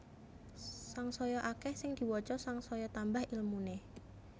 Sangsaya akeh sing diwaca sangsaya tambah ilmune